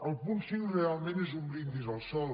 el punt cinc realment és un brindis al sol